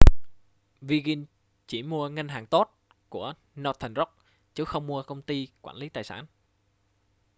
virgin chỉ mua ngân hàng tốt' của northern rock chứ không mua công ty quản lý tài sản